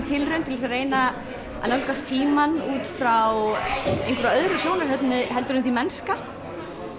tilraun til þess að reyna að nálgast tímann út frá einhverju öðru sjónarhorni en því mennska